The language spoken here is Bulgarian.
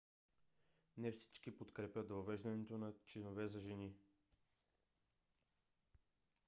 не всички подкрепят въвеждането на чинове за жени